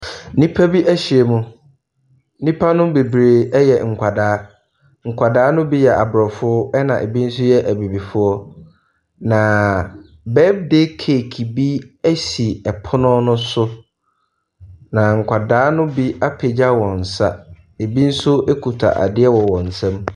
Nnipa bi ahyiam. Nnipa no bebree yɛ nkwadaa. Nkwadaa no bi yɛ aborɔfo ɛnna ebi nso yɛ abibifoɔ, na birthday cake bi si pono no so, na nkwadaa no apagya wɔn nsa, ebi nso kuta adeɛ wɔ wɔn nsam.